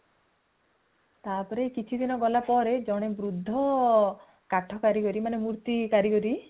ତାପରେ କିଛି ଦିନ ଗଲା ପରେ ଜଣେ ବୃଦ୍ଧ କାଠ କାରିଗରୀ ମାନେ ମୂର୍ତି କାରିଗରୀ